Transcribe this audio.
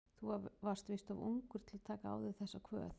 Þú varst víst of ungur til að taka á þig þessa kvöð.